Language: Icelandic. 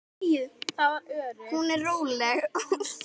Hún er róleg.